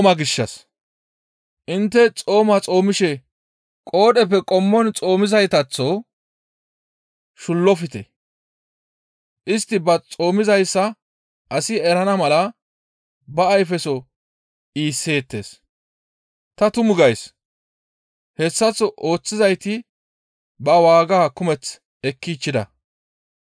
«Intte xooma xoomishe qoodheppe qommon xoomizaytaththo shullofte. Istti ba xoomizayssa asi erana mala ba ayfeso iisseettes. Ta tumu gays; hessaththo ooththizayti ba waaga kumeth ekkichchida.